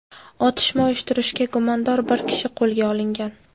Otishma uyushtirishda gumondor bir kishi qo‘lga olingan.